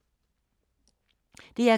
DR K